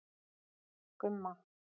Gumma